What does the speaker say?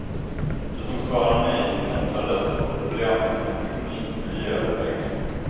De som svarar nej kan ta lätt på problemen med teknik, miljö och pengar.